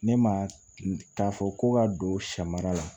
Ne ma k'a fɔ ko ka don samara la